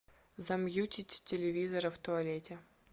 замьютить телевизора в туалете